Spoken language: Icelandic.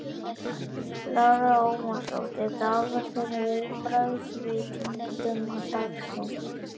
Lára Ómarsdóttir: Dagur, þín viðbrögð við tíðindum dagsins?